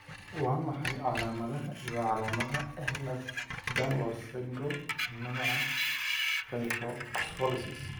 Waa maxay calaamadaha iyo calaamadaha Ehlers Danlos syndrome, nooca kyphoscoliosis?